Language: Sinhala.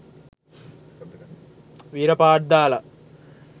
වීර පාට් දාලා